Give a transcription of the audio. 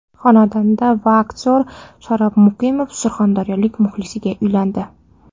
Xonanda va aktyor Sharof Muqimov surxondaryolik muxlisiga uylandi .